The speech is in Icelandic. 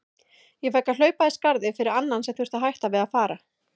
Ég fékk að hlaupa í skarðið fyrir annan sem þurfti að hætta við að fara.